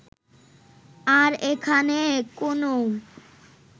আর এখানে কোনও